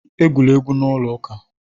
Egwula egwu n'ụlọ ụka!